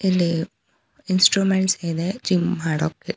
ಇಲ್ಲಿ ಇನ್ಸ್ಟ್ರುಮೆಂಟ್ ಇದೆ ಜಿಮ್ ಮಾಡೋಕೆ.